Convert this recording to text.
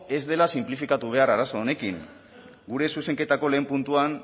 ez dela sinplifikatu behar arazo honekin gure zuzenketako lehen puntuan